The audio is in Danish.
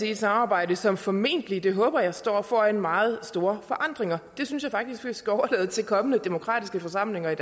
i et samarbejde som formentlig det håber jeg står foran meget store forandringer det synes jeg faktisk vi skal overlade til kommende demokratiske forsamlinger